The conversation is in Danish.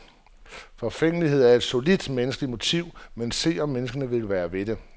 Forfængelighed er et solidt menneskeligt motiv, men se, om menneskene vil være ved det.